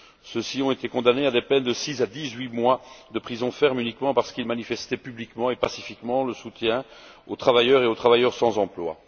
Ceux ci ont été condamnés à des peines de six à dix huit mois de prison ferme, uniquement parce qu'ils manifestaient publiquement et pacifiquement leur soutien aux travailleurs et aux personnes sans emploi.